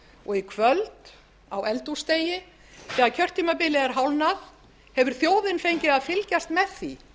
og í kvöld á eldhúsdegi þegar kjörtímabilið er hálfnað hefur þjóðin fengið að fylgjast með því